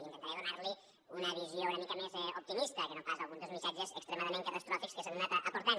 intentaré donar li una visió una mica més optimista que no pas alguns dels missatges extremament catastròfics que s’han anat aportant